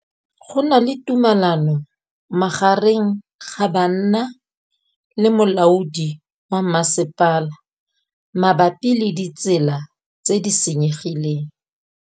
Go na le thulanô magareng ga banna le molaodi wa masepala mabapi le ditsela tse di senyegileng.